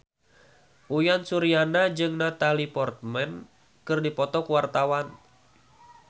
Uyan Suryana jeung Natalie Portman keur dipoto ku wartawan